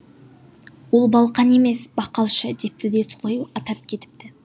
ол балқан емес бақалшы депті де солай атап кетіпті